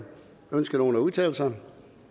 ønsker nogen at udtale sig